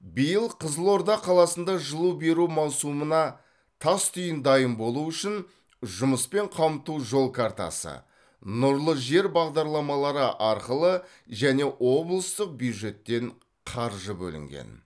биыл қызылорда қаласында жылу беру маусымына тас түйін дайын болу үшін жұмыспен қамту жол картасы нұрлы жер бағдарламалары арқылы және облыстық бюджеттен қаржы бөлінген